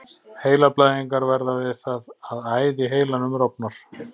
Heilablæðingar verða við það að æð í heilanum rofnar.